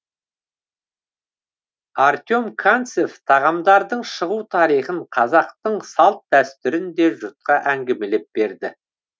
артем канцев тағамдардың шығу тарихын қазақтың салт дәстүрін де жұртқа әңгімелеп берді